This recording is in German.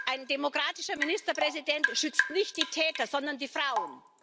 Ein demokratischer Ministerpräsident schützt nicht die Täter, sondern die Frauen.